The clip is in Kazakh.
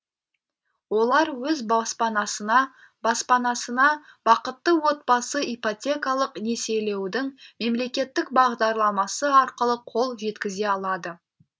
олар өз баспанасына баспанасына бақытты отбасы ипотекалық несиелеудің мемлекеттік бағдарламасы арқылы қол жеткізе алады